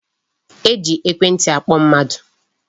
E ji ekwentị akpọ mmadụ.